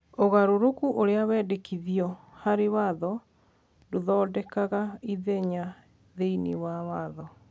Ũgarũrũku ũrĩa wendekithĩtio harĩ watho ndũthondekaga ithenya thĩinĩ wa watho.